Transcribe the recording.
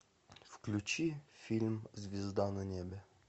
включи фильм звезда на небе